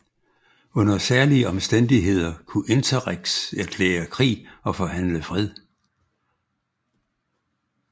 Under særlige omstændigheder kunne interrex erklære krig og forhandle fred